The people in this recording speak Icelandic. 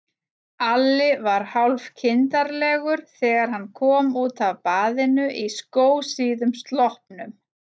Alli var hálfkindarlegur þegar hann kom út af baðinu í skósíðum sloppnum.